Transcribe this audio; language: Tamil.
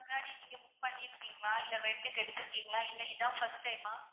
முன்னாடி நீங்க book பண்ணிருக்கிங்களா இல்ல rent டுக்கு எடுத்துருக்கிங்களா இல்ல இது தான் first time மா?